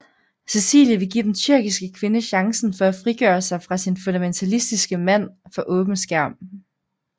Cecilie vil give den tyrkiske kvinde chancen for at frigøre sig fra sin fundamentalistiske mand for åben skærm